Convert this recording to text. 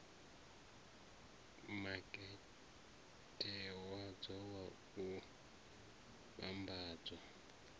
makete wadzo wa u vhambadza